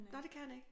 Nåh det kan han ikke